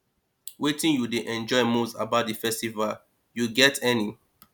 wetin you dey enjoy most about di festival you get any